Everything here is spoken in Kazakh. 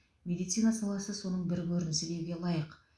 медицина саласы соның бір көрінісі деуге лайық